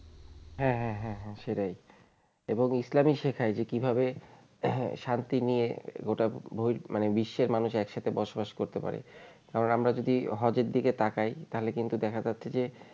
হ্যাঁ হ্যাঁ হ্যাঁ হ্যাঁ সেটাই এবং ইসলামই শেখায় যে কিভাবে শান্তি নিয়ে গোটা বিশ্বের মানুষ একসাথে বসবাস করতে পারে কারন আমরা যদি হজের দিকে তাকাই তাহলে কিন্তু দেখা যাচ্ছে যে